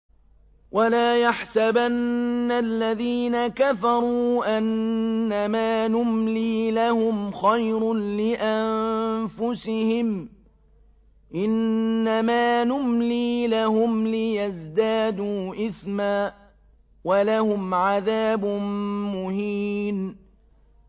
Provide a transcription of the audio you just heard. وَلَا يَحْسَبَنَّ الَّذِينَ كَفَرُوا أَنَّمَا نُمْلِي لَهُمْ خَيْرٌ لِّأَنفُسِهِمْ ۚ إِنَّمَا نُمْلِي لَهُمْ لِيَزْدَادُوا إِثْمًا ۚ وَلَهُمْ عَذَابٌ مُّهِينٌ